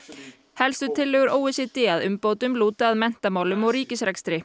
helstu tillögur o e c d að umbótum lúta að menntamálum og ríkisrekstri